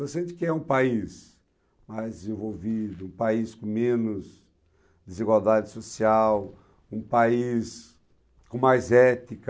Você sente que é um país mais desenvolvido, um país com menos desigualdade social, um país com mais ética.